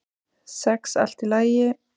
Sex allt í lagi.